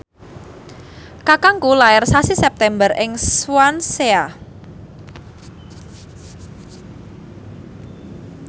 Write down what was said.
kakangku lair sasi September ing Swansea